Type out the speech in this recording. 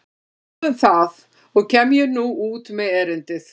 En hvað um það og kem ég nú út með erindið.